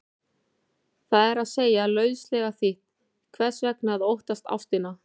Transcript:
Það er að segja, lauslega þýtt, hvers vegna að óttast ástina?